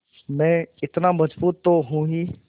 मैं इतना मज़बूत तो हूँ ही